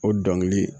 O dɔnkili